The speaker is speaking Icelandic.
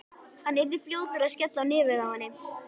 Hann yrði fljótur að skella á nefið á henni.